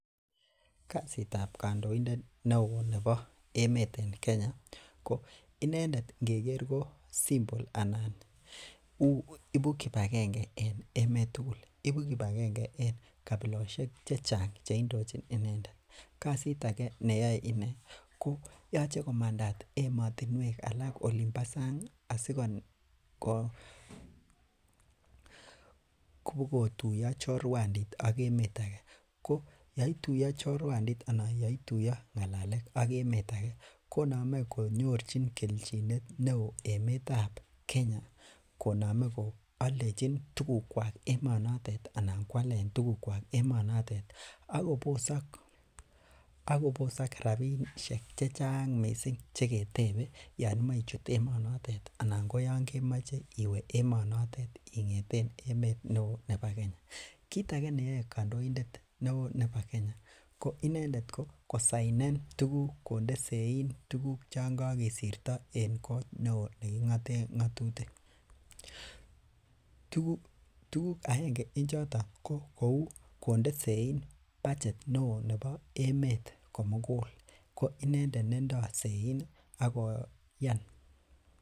Kasitab kandoindet neoo neboem emeet en Kenya ih . Inendet ingeker kouu symbol nebo kibsgenge en emeet tugul. Ibu kibakenge en kabilosiek chachang cheindochin inendet. Kasit age neyoe inee , ko yoche komandat emotinuek chuun ba sang asikokobogo tuya chorwandit ak emeet age, yoituya chorwandit anan yeituya ng'alalet ak emeet age konamei kenyorchin kechinet neoo emetab Kenya konamei koaldechin tugukuak emonoton anan kowalen tugukuak emonotet ih akobosak rabisiek chechang missing cheketebei yoon imoe ichut emoonotet Yoon kemoche iwee emeet neoo nebo Kenya . Kit age neyoe kandoindet neoo nebo Kenya ko kosainen tuguk konde seyin tuguk chon kokisto en kot neo neking'aten ng'atutik, aenge en choton ko konde seyin budget neboo emeet komugul ko inendet nendoo sayin koyan.